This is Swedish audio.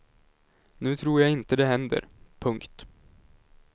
Nu tror jag inte det händer. punkt